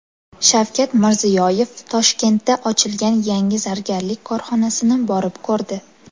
Shavkat Mirziyoyev Toshkentda ochilgan yangi zargarlik korxonasini borib ko‘rdi.